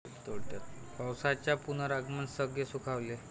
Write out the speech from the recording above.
पावसाच्या पुनरागमनानं सगळे सुखावले